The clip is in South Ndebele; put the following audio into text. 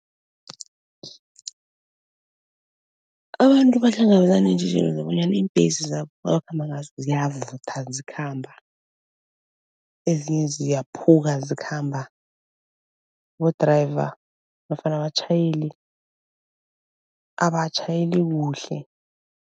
Abantu bahlangabezana neentjhijilo zokobonyana iimbhesi zabo abakhamba ngazo ziyavutha zikhamba, ezinye ziyaphuka zikhamba abo-driver nofana abatjhayeli abatjhayeli kuhle.